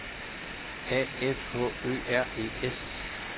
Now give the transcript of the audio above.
A F H Ø R E S